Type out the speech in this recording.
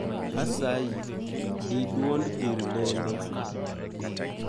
Asayi, dii duond gir lendo.